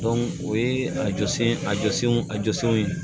o ye a jɔsen a jɔsenw a jɔsenw ye